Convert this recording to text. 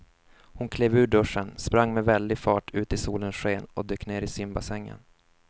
Hon klev ur duschen, sprang med väldig fart ut i solens sken och dök ner i simbassängen.